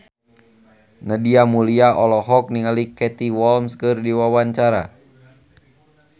Nadia Mulya olohok ningali Katie Holmes keur diwawancara